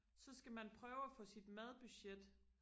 så skal man prøve og få sit madbudget